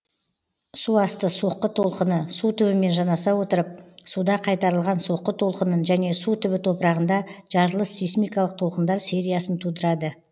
су асты соққы толқыны су түбімен жанаса отырып суда қайтарылған соққы толқынын және су түбі топырағында жарылыс сейсмикалық толқындар сернясын тудырады